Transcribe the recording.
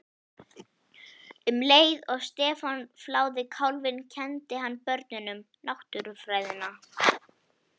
Um leið og Stefán fláði kálfinn kenndi hann börnunum Náttúrufræðina.